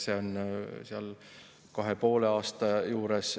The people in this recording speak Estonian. Selgus, et see on kahe ja poole aasta juures.